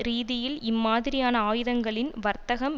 ரீதியில் இம்மாதிரியான ஆயுதங்களின் வர்த்தகம்